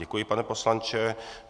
Děkuji, pane poslanče.